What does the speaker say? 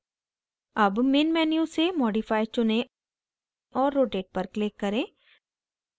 अब main menu से modify चुनें और rotate पर click करें